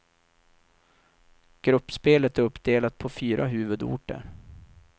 Gruppspelet är uppdelat på fyra huvudorter.